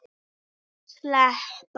Steinn, hvað er í matinn?